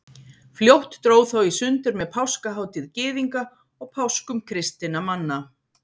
Fljótt dró þó í sundur með páskahátíð Gyðinga og páskum kristinna manna.